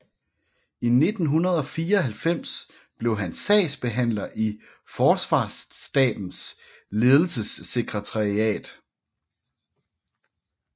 I 1994 blev han sagsbehandler i Forsvarsstabens ledelsessekretariatet